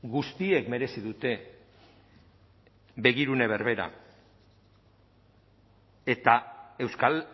guztiek merezi dute begirune berbera eta euskal